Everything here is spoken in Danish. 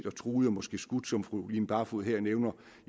og truet og måske skudt som fru line barfod her nævner